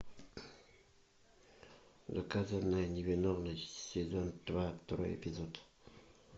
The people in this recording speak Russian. доказанная невиновность сезон два второй эпизод